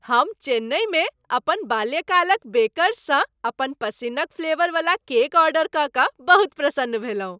हम चेन्नई मे अपन बाल्यकाल क बेकरसँ अपन पसिन्न क फ्लेवर वाला केक ऑर्डर कय कऽ बहुत प्रसन्न भेलहुँ ।